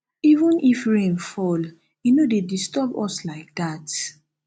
even if rain fall e no dey disturb us like dat